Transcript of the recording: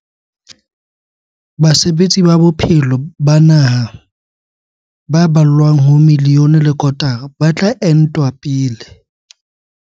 Basebetsi ba bophelo ba naha ba ballwang ho miliyone le kotara ba tla entwa pele.